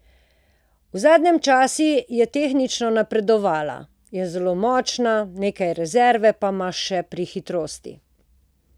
V zadnjem času je tehnično napredovala, je zelo močna, nekaj rezerve pa ima še pri hitrosti.